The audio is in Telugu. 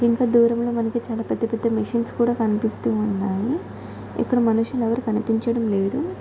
ఇంత దూరంలో మనకు చాల పెద్ద పెద్ద మెషిన్ కూడా కనిపిస్తున్నాయి ఇక్కడ మనుషులు ఎవరు కనిపించడం లేదు.